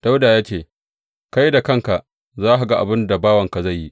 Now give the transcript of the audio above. Dawuda ya ce, Kai da kanka za ka ga abin da bawanka zai yi.